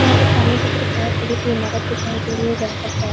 यहाँ पर सामने की तरफ बहुत बड़ी सी इमारत दिखाई दे रही है जहाँ पर चार--